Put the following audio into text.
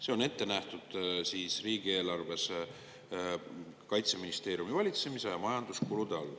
See on ette nähtud riigieelarves Kaitseministeeriumi valitsemisala majanduskulude all.